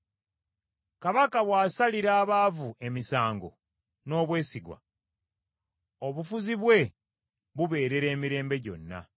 Kabaka bw’asalira abaavu emisango n’obwesigwa, obufuzi bwe bubeerera emirembe gyonna.